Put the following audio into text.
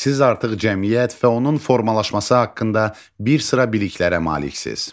Siz artıq cəmiyyət və onun formalaşması haqqında bir sıra biliklərə maliksiz.